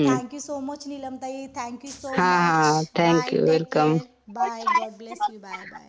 Thank you so much Nilamtai thank you so much. Bye take care bye God bless you bye bye.